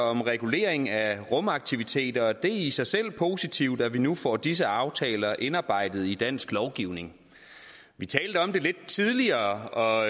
om regulering af rumaktiviteter og det er i sig selv positivt at vi nu får disse aftaler indarbejdet i dansk lovgivning vi talte om det lidt tidligere og